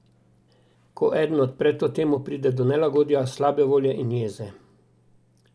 Ko eden odpre to temo, pride do nelagodja, slabe volje in jeze.